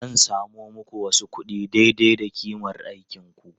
Zan samo muku wasu kuɗi daidai da ƙimar aikinku.